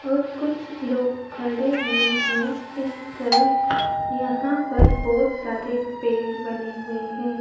और कुछ लोग खड़े हुए हैं इस तरफ यहां पर बहोत सारे पेड़ बने हुए हैं।